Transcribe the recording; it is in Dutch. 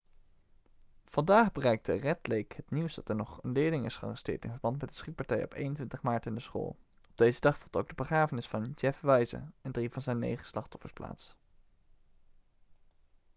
vandaag bereikte red lake het nieuws dat er nog een leerling is gearresteerd in verband met de schietpartijen op 21 maart in de school op deze dag vond ook de begrafenis van jeff weise en drie van zijn negen slachtoffers plaats